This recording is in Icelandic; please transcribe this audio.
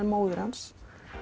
móðir hans